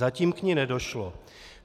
Zatím k ní nedošlo.